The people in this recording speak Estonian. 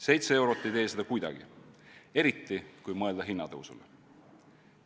Seitse eurot ei tee seda kuidagi, eriti kui mõelda hinnatõusule.